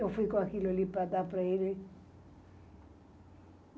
Eu fui com aquilo ali para dar para ele.